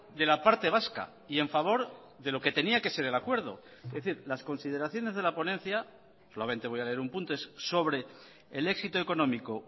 de la parte vasca y en favor de lo que tenía que ser el acuerdo es decir las consideraciones de la ponencia solamente voy a leer un punto es sobre el éxito económico